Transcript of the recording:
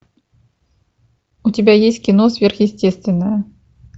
у тебя есть кино сверхъестественное